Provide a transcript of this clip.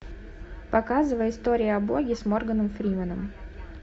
показывай история о боге с морганом фрименом